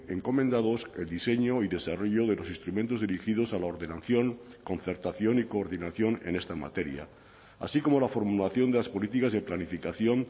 encomendados el diseño y desarrollo de los instrumentos dirigidos a la ordenación concertación y coordinación en esta materia así como la formulación de las políticas de planificación